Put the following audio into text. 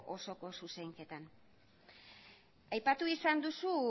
osoko zuzenketan aipatu izan duzu